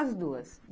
As duas.